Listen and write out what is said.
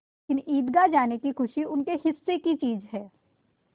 लेकिन ईदगाह जाने की खुशी उनके हिस्से की चीज़ है